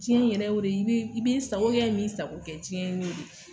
jiɲɛn yɛrɛ y'o de ye i be i b'i n sako kɛ n b'i sako kɛ jiɲɛn y'o de ye